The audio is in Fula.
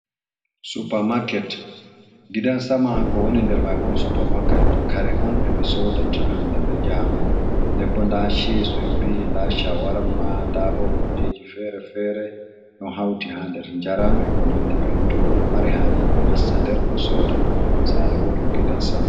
Supermarket gidan sama ko woni nder maibo on supermarket kare on ɗe ɓe sodata hande be jango den bo nda ches en biyi nda shawarma, nda bo kujeji fere-fere ɗo hauti ha nder jaram e ko nandi benon to goɗdo mari hajeni o nasta nder o soda sare ɓoɗɗum gidan sama.